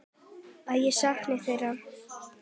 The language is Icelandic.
Að ég sakna þeirra.